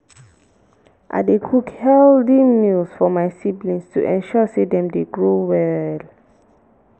i dey cook healthy meals for my siblings to ensure sey dem dey grow well.